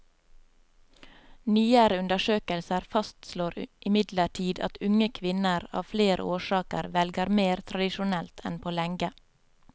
Nyere undersøkelser fastslår imidlertid at unge kvinner av flere årsaker velger mer tradisjonelt enn på lenge.